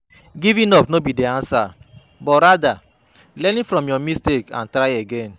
Giving up no be di answer, but rather learning from your mistakes and try again.